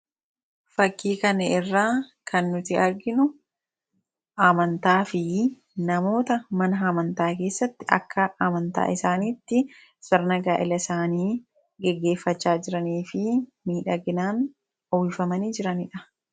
Suuraa kanaa gadii irraa kan mul'atu namoota akka amantaa isaaniitti gaa'eela mana amantaa isaanii keessatti dhaabbachaa jiranii dha. Isaannis miidhaginaan uffatanii kan jiranii dha.